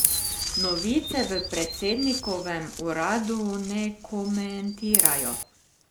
Novice v predsednikovem uradu ne komentirajo.